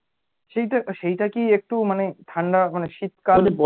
সেটা সেইটা কি একটু মানে ঠান্ডা মানে শীতকাল